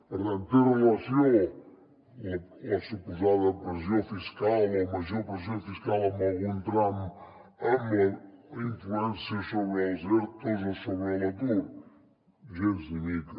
per tant té relació la suposada pressió fiscal o major pressió fiscal en algun tram amb la influència sobre els ertos o sobre l’atur gens ni mica